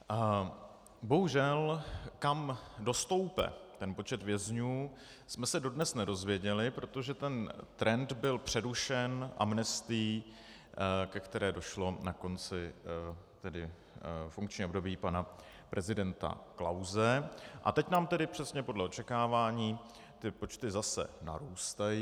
Bohužel, kam dostoupá ten počet vězňů, jsme se dodnes nedozvěděli, protože ten trend byl přerušen amnestií, ke které došlo na konci funkčního období pana prezidenta Klause, a teď nám tedy přesně podle očekávání ty počty zase narůstají.